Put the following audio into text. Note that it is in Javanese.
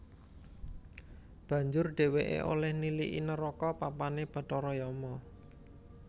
Banjur dhèwèké olèh niliki neraka papané bathara Yama